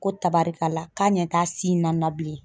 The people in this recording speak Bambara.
Ko tabarikala k'a ɲɛ t'a na n na bilen.